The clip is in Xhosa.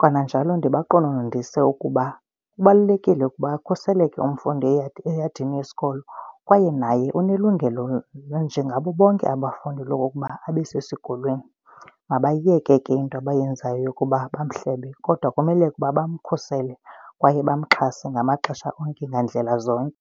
kananjalo ndibaqononondise ukuba kubalulekile ukuba akhuseleke umfundi eyadini yesikolo. Kwaye naye unelungelo njengabo bonke abafundi lokuba abe sesikolweni. Mabayeke ke into abayenzayo yokuba bamhlebe kodwa kumele ukuba bamkhusele kwaye bamxhase ngamaxesha onke ngandlela zonke.